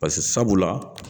Pase sabula